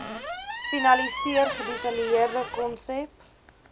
finaliseer gedetailleerde konsep